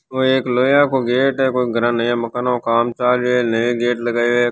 एक ये लोहें का गेट है कोई घर मकान का काम चल है नया गेट लगायो है।